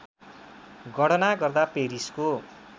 गणना गर्दा पेरिसको